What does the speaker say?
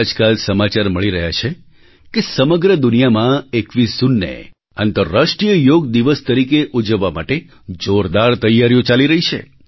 આજકાલ સમાચાર મળી રહ્યા છે કે સમગ્ર દુનિયામાં 21 જૂનને આંતરરાષ્ટ્રીય યોગ દિવસ તરીકે ઉજવવા માટે જોરદાર તૈયારીઓ ચાલી રહી છે